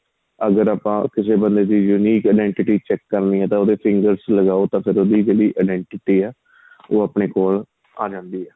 ਅਗਰ ਆਪਾਂ ਕਿਸੇ ਬੰਦੇ unique identity check ਕਰਨੀ ਏ ਤਾਂ ਉਹਦੇ finger s ਲਗਾਹੋ ਤਾਂ ਫ਼ਿਰ ਉਹਦੀ ਜਿਹੜੀ identity ਆਂ ਉਹ ਆਪਣੇ ਕੋਲ ਆਂ ਜਾਂਦੀ ਏ